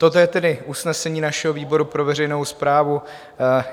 Toto je tedy usnesení našeho výboru pro veřejnou správu.